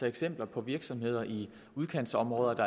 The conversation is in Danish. eksempler på virksomheder i udkantsområder hvor